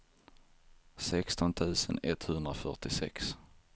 sexton tusen etthundrafyrtiosex